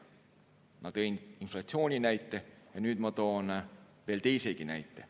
Ma tõin inflatsiooni kohta näite ja nüüd ma toon veel teisegi näite.